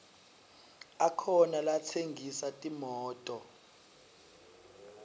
akhona latsengisa timoto